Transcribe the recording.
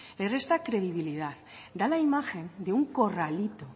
le resta credibilidad da la imagen de un corralito